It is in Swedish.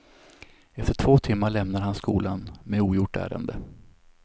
Efter två timmar lämnade han skolan, med ogjort ärende.